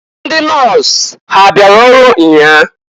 Ndị nọs ha abịara ọrụ nnyaa?